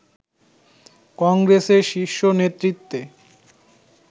কংগ্রেসের শীর্ষ নেতৃত্বে